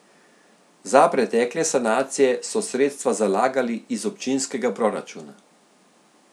Za pretekle sanacije so sredstva zalagali iz občinskega proračuna.